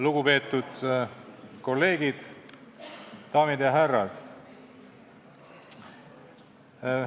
Lugupeetud kolleegid, daamid ja härrad!